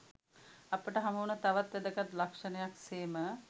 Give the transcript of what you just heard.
අපට හමුවන තවත් වැදගත් ලක්ෂණයක් සේම